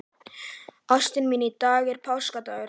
Ástin mín, í dag er páskadagur.